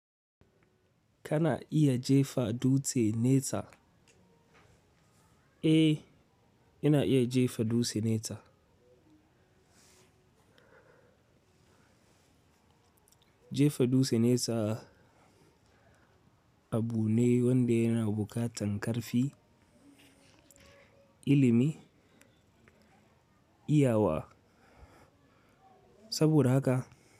Kana iya jefa dutse nesa? Eh, ina iya jefa dutse nesa. Jefa dutse nesa abu ne wanda yana buƙatar ƙarfi, ilimi, iyawa, saboda haka.